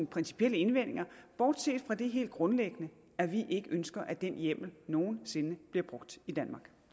principielle indvendinger bortset fra det helt grundlæggende at vi ikke ønsker at den hjemmel nogen sinde bliver brugt i danmark